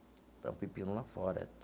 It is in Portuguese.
Então um pepino lá fora.